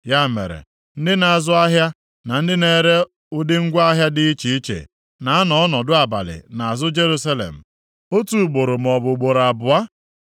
Ya mere, ndị na-azụ ahịa na ndị na-ere ụdị ngwa ahịa dị iche iche, na-anọ ọnọdụ abalị nʼazụ Jerusalem, otu gboro maọbụ ugboro abụọ.